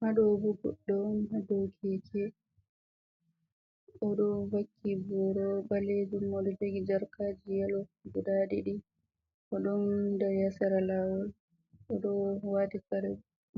Haɗo bo goɗɗo hadow keke oɗo vakki boro ɓalejum oɗo dagi jarkaji yalo guda ɗiɗi o ɗon dari ha yasara lawol, oɗo wati kare